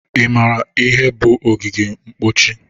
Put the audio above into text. Ị mara ihe bụ ogige mkpochi?